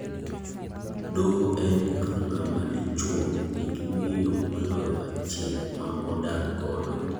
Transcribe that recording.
Doho en ka ng'ama dichuo ni gi miyo moloyo achiel ma odak godo.